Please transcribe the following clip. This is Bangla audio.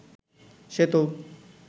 সেতু